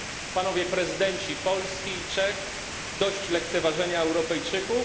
Panowie prezydenci Polski i Czech dość lekceważenia Europejczyków!